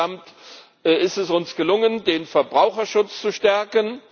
Insgesamt ist es uns gelungen, den Verbraucherschutz zu stärken.